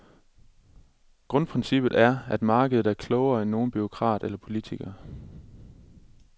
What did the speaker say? Grundprincippet er, at markedet er klogere end nogen bureaukrat eller politiker.